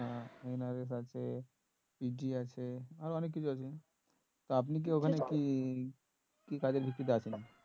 হ্যাঁ NRS আছে PG আছে আরো অনেক আছে তা আপনি কি ওখানে কি কি কাজের ভিত্তি তে আছেন